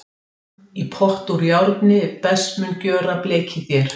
Í pott úr járni best mun gjöra blekið þér.